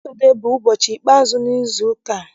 Satọdee bụ ụbọchị ikpe azụ n'izu ụka.